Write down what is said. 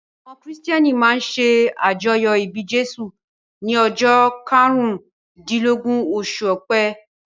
Àwọn Kìrìtẹ̀ẹ́nì máa ń ṣe àjọyọ̀ ìbí Jésù ní ọjọ́ karùndílógún, oṣù Ọpẹ́.